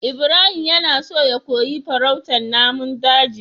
Ibrahim yana so ya koyi farautar namun daji